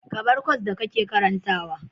Ka bar kwas da kake karantawa.